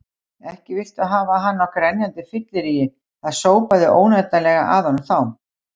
Ekki viltu hafa hann á grenjandi fylleríi, það sópaði óneitanlega að honum þá.